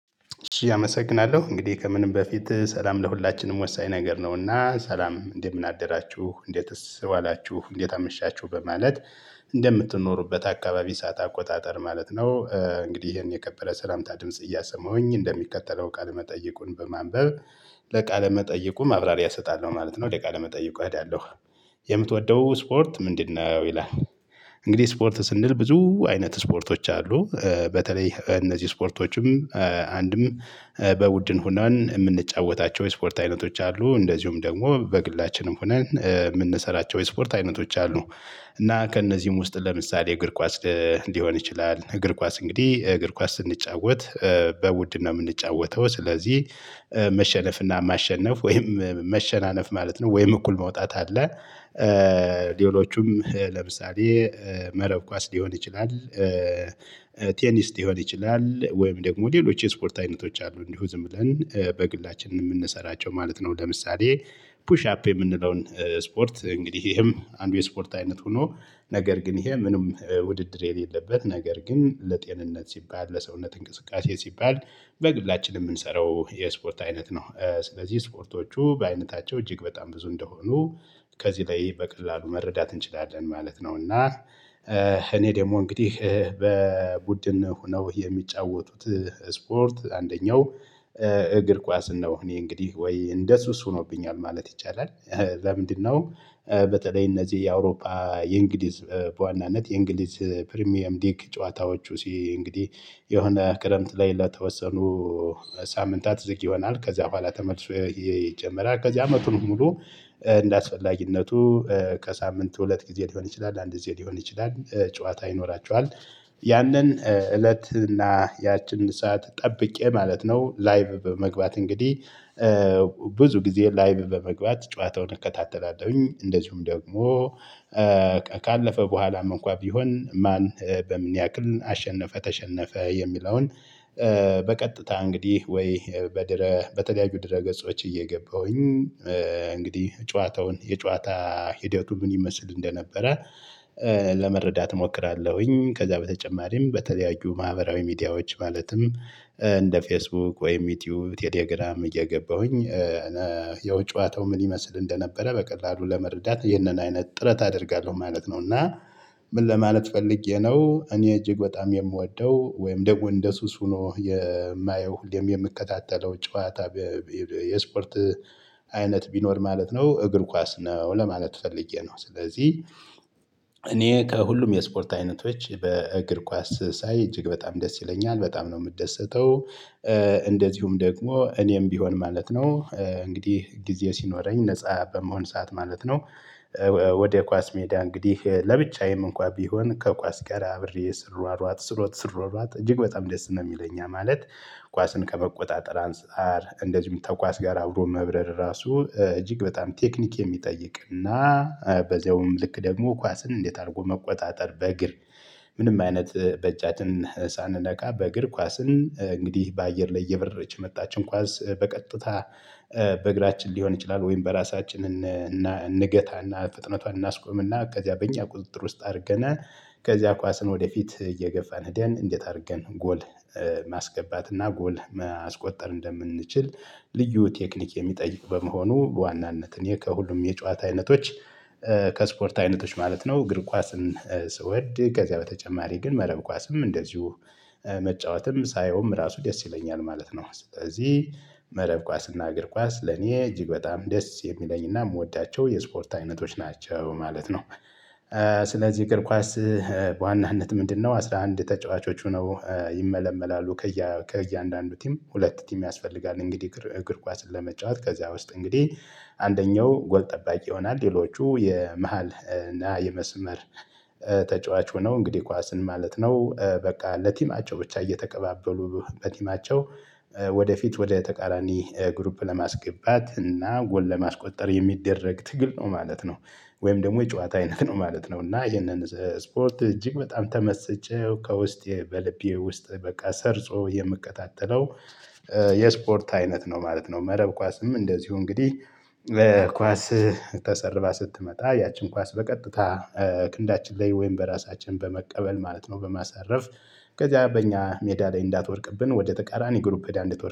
እሺ አመሰግናለሁ እንግዲህ ከምንም በፊት ሰላም ለሁላችንም ወሳኝ ነገር ነውና ሰላም እንደ ምን አደራችሁ እንዴትስ ዋላችሁ እንዴት አምሻችሁ በማለት እንደምትኖሩበት አከባቢ ሰዓት አቆጣጠር ማለት ነው። እንግዲህ ይሄን የከበረ ሰላምታ ድምጽ እያሰማሁኝ እንደሚከተለው ቃለ መጠየቁን በማንበብ። ለቃል መጠየቁ ማብራሪያ እሰጣለሁ ማለት ነው። ወደ ቃለ መጠይቁ እሄዳለሁ። የምትወደው ስፖርት ምንድነው? ይላል እንግዲህ ስፖርት ስንል ብዙ አይነት ስፖርቶች አሉ። በተለይ እነዚህ ስፖርቶችም አንድም በቡድን ሆነን የምንጫወታቸው የስፖርት አይነቶች አሉ እንደዚሁም ደግሞ በግላችንም ሆነን የምንሰራቸው የስፖርት አይነቶች አሉ። እና ከእነዚህም ውስጥ ለምሳሌ እግር ኳስ ሊሆን ይችላል። እግር ኳስ እንግዲህ እግር ኳስ ስንጫወት በቡድን ነው የምንጫወተው። ስለዚህ መሸነፍ እና ማሸነፍ ወይም መሸናነፍ ማለት ነው ወይም እኩል መውጣት አለ። ሌሎቹም ለምሳሌ መረብ ኳስ ሊሆን ይችላል። ቴኒስ ሊሆን ይችላል ወይም ደግሞ ሌሎች የስፖርት አይነቶች አሉ። እንዲሁ ዝም ብለን በግላችን የምንሰራቸው ማለት ነው። ለምሳሌ ፑሽ አፕ የምንለውን ስፖርት እንግዲህ ይሄም አንድ የስፖርት አይነት ሆኖ ነገር ግን ይሄ ምንም ውድድር የሌለበት ነገር ግን ለጤንነት ሲባል ለሰውነት እንቅስቃሴ ሲባል በግላችን የምንሰራው የስፖርት አይነት ነው። ስለዚህ ስፖርቶቹ በአይነታቸው እጅግ በጣም ብዙ እንደሆኑ ከዚህ ላይ በቀላሉ መረዳት እንችላለን ማለት ነው። እና እኔ ደግሞ እንግዲህ በቡድን ሆነው የሚጫወቱት ስፖርት አንደኛው እግር ኳስ ነው እኔ እንግዲህ ወይ እንደ ሱስ ሆኖብኛል ማለት ይቻላል። ለምንድነው? በተለይ እነዚህ የአውሮፓ የእንግሊዝ በዋናነት የእንግሊዝ ፕሪሚየምሊግ ጨዋታዎቹ እንግዲህ የሆነ ክረምት ላይ ለተወሰኑ ሳምንታት ዝግ ይሆናል። ከዚያ በኋላ ተመልሶ ይጀምራል። ከዚያ አመቱን ሙሉ እንደአስፈላጊነቱ ከሳምንት ሁለት ጊዜ ሊሆን ይችላል አንድ ጊዜ ሊሆን ይችላል ጨዋታ ይኖራችኋል። ያንን እለት እና ያችን ሰዓት ጠብቄ ማለት ነው ላይቭ በመግባት እንግዲህ ብዙ ጊዜ ላይቭ በመግባት ጨዋታውን እከታተላለሁኝ። እንደዚሁም ደግሞ ካለፈ በኋላም እንኳን ቢሆን ማን በምን ያክል አሸነፈ ተሸነፈ የሚለውን። በቀጥታ እንግዲህ ወይ በድረ በተለያዩ ድረ ገጾች እየገባሁኝ። እንግዲህ ጨዋታውን የጨዋታ ሂደቱ ምን ይመስል እንደነበረ ለመረዳት እሞክራለሁኝ። ከዛ በተጨማሪም በተለያዩ ማህበራዊ ሚዲያዎች ማለትም እንደ ፌስቡክ ወይም ዩቲዩብ ቴሌግራም እየገባሁኝ። ያው ጨዋታው ምን ይመስል እንደነበረ በቀላሉ ለመረዳት ይህንን አይነት ጥረት አደርጋለሁ ማለት ነው። እና ምን ለማለት ፈልጌ ነው? እኔ እጅግ በጣም የምወደው ወይም ደግሞ እንደ ሱስ ሆኖ የማየው ሁሌም የምከታተለው ጨዋታ የስፖርት አይነት ቢኖር ማለት ነው። እግር ኳስ ነው ለማለት ፈልጌ ነው። ስለዚህ እኔ ከሁሉም የስፖርት አይነቶች እግር ኳስ ሳይ እጅግ በጣም ደስ ይለኛል በጣም ነው የምትደሰተው። እንደዚሁም ደግሞ እኔም ቢሆን ማለት ነው። እንግዲህ ጊዜ ሲኖረኝ ነፃ በምሆን ሰዓት ማለት ነው። ወደ ኳስ ሜዳ እንግዲህ ለብቻዬም እንኳን ቢሆን ከኳስ ጋር አብሬ ስሯሯጥ ስሮጥ ስሯሯጥ እጅግ በጣም ደስ ነው የሚለኝ። ያ ማለት ኳስን ከመቆጣጠር አንፃር እንደዚሁም ተኳስ ጋር አብሮ መብረር ራሱ እጅግ በጣም ቴክኒክ የሚጠይቅና። በዚያውም ልክ ደግሞ ኳስን እንዴት አድርጎ መቆጣጠር በእግር ምንም አይነት በእጃችን ሳንነካ በእግር ኳስን እንግዲህ በአየር ላይ እየበረች የመጣችን ኳስ በቀጥታ በእግራችን ሊሆን ይችላል ወይም በራሳችን እና እንገታና ፍጥነቷን እናስቆምና ከዚያ በእኛ ቁጥጥር ውስጥ አድርገናት። ከዚያ ኳስን ወደፊት እየገፋን ሄደን እንዴት አድርገን ጎል ማስገባትና ጎል ማስቆጠር እንደምንችል። ልዩ ቴክኒክ የሚጠይቅ በመሆኑ በዋናነት እኔ ከሁሉም የጨዋታ አይነቶች። ከስፖርት አይነቶች ማለት ነው እግር ኳስን ስወድ ከዚያ በተጨማሪ ግን መረብ ኳስም እንደዚሁ መጫወትም ሳየውም ራሱ ደስ ይለኛል ማለት ነው። ስለዚህ መረብ ኳስ እና እግር ኳስ ለኔ እጅግ በጣም ደስ የሚለኝና የምወዳቸው የስፖርት አይነቶች ናቸው ማለት ነው። ስለዚህ እግር ኳስ በዋናነት ምንድነው አስራ አንድ ተጫዋቾች ሆነው ይመለመላሉ። ከእያንዳንዱ ቲም ሁለት ቲም ያስፈልጋል እንግዲህ እግር እግር ኳስን ለመጫወት ከዚያ ውስጥ እንግዲህ አንደኛው ጎል ጠባቂ ይሆናል። ሌሎቹ የመሃል እና የመስመር ተጫዋች ሆነው እንግዲህ ኳስን ማለት ነው። በቃ ለቲማቸው ብቻ እየተቀባበሉ በቲማቸው ወደፊት ወደ ተቃራኒ ግሩፕ ለማስገባት እና ጎል ለማስቆጠር የሚደረግ ትግል ነው ማለት ነው። ወይም ደግሞ የጨዋታ አይነት ነው ማለት ነው። እና ይሄንን ስፖርት እጅግ በጣም ተመስጬ ከውስጤ በልቤ ውስጥ በቃ ሰርጾ የምከታተለው። የስፖርት አይነት ነው ማለት ነው። መረብ ኳስም እንደዚሁ እንግዲህ ኳስ ተሰርባ ስትመጣ ያችን ኳስ በቀጥታ ክንዳችን ላይ ወይም በራሳችን በመቀበል ማለት ነው በማሳረፍ ከዚያ በእኛ ሜዳ ላይ እንዳትወድቅብን ወደ ተቃራኒ ግሩፕ እንድትወድቅ